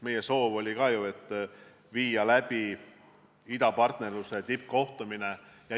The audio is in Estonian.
Meie soov oli ka ju teha idapartnerluse tippkohtumine.